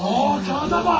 O, kağıza bax!